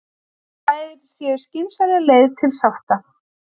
Þær séu skynsamleg leið til sátta